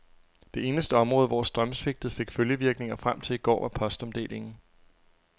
Det eneste område, hvor strømsvigtet fik følgevirkninger frem til i går, var postomdelingen.